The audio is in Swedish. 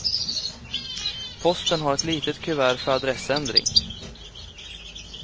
Posten har ett litet kuvert för adressändring.